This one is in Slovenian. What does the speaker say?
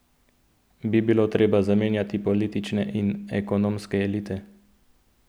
Bi bilo treba zamenjati politične in ekonomske elite?